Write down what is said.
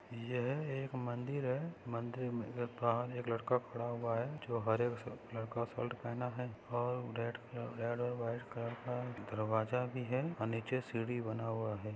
यह एक मंदिर है मंदिर के बाहर एक लड़का खड़ा हुआ है जो हरे लड़का शर्ट पहना है और रेड रेड और व्हाइट कलर का दरवाजा भी है अ नीचे सीडी बना हुआ है।